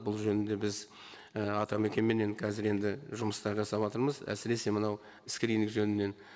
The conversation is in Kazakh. бұл жөнінде біз і атамекенменен қазір енді жұмыстар жасаватырмыз әсіресе мынау скрининг жөнінен